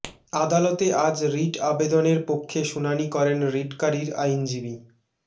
আদালতে আজ রিট আবেদনের পক্ষে শুনানি করেন রিটকারীর আইনজীবী ড